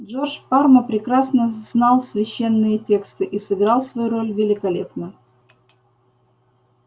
джордж парма прекрасно знал священные тексты и сыграл свою роль великолепно